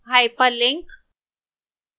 hyperlink